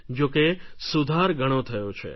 જો કે સુધાર ઘણો થયો છે